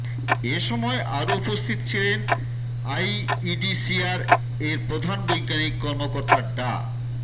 এ সময় আরও উপস্থিত ছিলেন আইইডিসিআর এর প্রধান বৈজ্ঞানিক কর্মকর্তা ডা